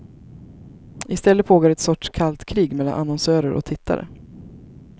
Istället pågår ett sorts kallt krig mellan annonsörer och tittare.